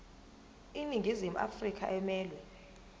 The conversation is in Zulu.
iningizimu afrika emelwe